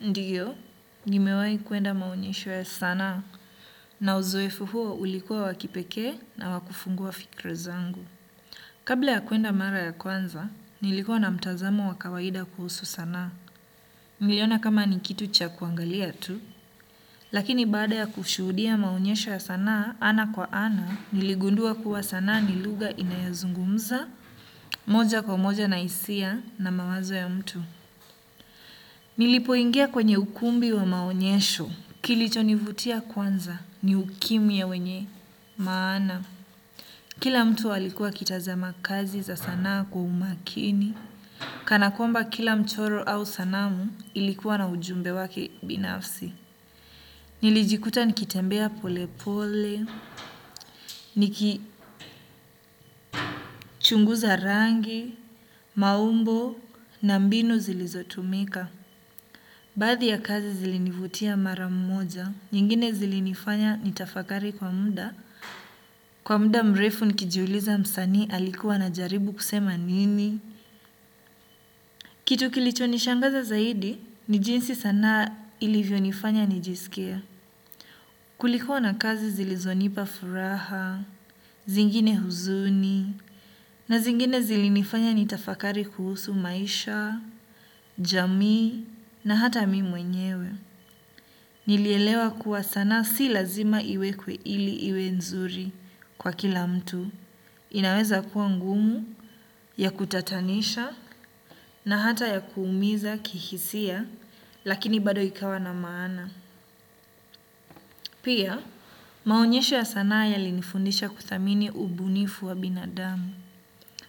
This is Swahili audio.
Ndiyo, nimewai kuenda maonyesho ya sanaa na uzoefu huo ulikuwa wa kipekee na wa kufungua fikra zangu. Kabla ya kuenda mara ya kwanza, nilikuwa na mtazamo wa kawaida kuhusu sanaa. Niliona kama ni kitu cha kuangalia tu, lakini baada ya kushuhudia maonyesho ya sanaa ana kwa ana, niligundua kuwa sanaa ni lugha inayozungumza, moja kwa moja na hisia na mawazo ya mtu. Nilipoingia kwenye ukumbi wa maonyesho kilichonivutia kwanza ni ukimya wenye maana. Kila mtu alikuwa akitazama kazi za sana kwa umakini. Kana kwamba kila mchoro au sanamu ilikuwa na ujumbe wake binafsi. Nilijikuta nikitembea pole pole. Nikichunguza rangi, maumbo na mbinu zilizotumika baadhi ya kazi zilinivutia mara mmoja, nyingine zilinifanya nitafakari kwa muda, kwa muda mrefu nikijiuliza msanii alikuwa anajaribu kusema nini. Kitu kilicho nishangaza zaidi, ni jinsi sanaa ilivyo nifanya nijisikie. Kulikuwa na kazi zilizonipa furaha, zingine huzuni, na zingine zilinifanya nitafakari kuhusu maisha, jamii, na hata mi mwenyewe. Nilielewa kuwa sanaa si lazima iwekwe ili iwe nzuri kwa kila mtu. Inaweza kuwa ngumu ya kutatanisha na hata ya kuumiza kihisia lakini bado ikawa na maana. Pia, maonyesho ya sanaa yalinifundisha kuthamini ubunifu wa binadamu.